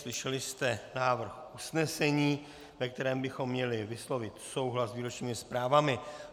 Slyšeli jste návrh usnesení, ve kterém bychom měli vyslovit souhlas s výročními zprávami.